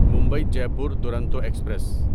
Mumbai Jaipur Duronto express